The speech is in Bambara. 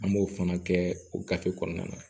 An b'o fana kɛ o gafe kɔnɔna na